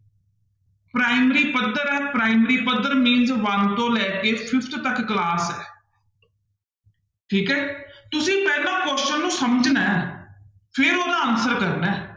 primary ਪੱਧਰ ਹੈ primary ਪੱਧਰ means one ਤੋਂ ਲੈ ਕੇ fifth ਤੱਕ class ਹੈ ਠੀਕ ਹੈ ਤੁਸੀਂ ਪਹਿਲਾਂ question ਨੂੰ ਸਮਝਣਾ ਹੈ ਫਿਰ ਉਹਦਾ answer ਕਰਨਾ ਹੈ